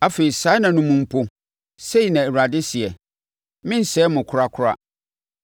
“Afei saa nna no mu mpo,” sei na Awurade seɛ, “Merensɛe mo korakora.